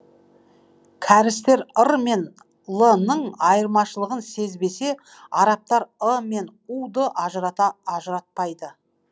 кәрістер р мен л ның айырмашылығын сезбесе арабтар ы мен у ды ажыратпайды